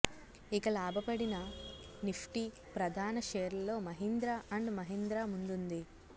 ఇక లాభపడిన నిఫ్టి ప్రధాన షేర్లలో మహీంద్రా అండ్ మహీంద్రా ముందుంది